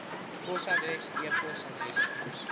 posadres e posadres